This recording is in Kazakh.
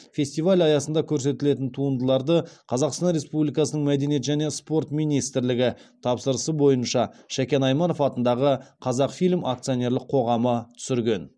фестиваль аясында көрсетілетін туындыларды қазақстан республикасының мәдениет және спорт министрлігі тапсырысы бойынша шәкен айманов атындағы қазақфильм акционерлік қоғамы түсірген